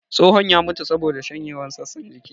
Tsohon ya mutu saboda shanyewar sassan jiki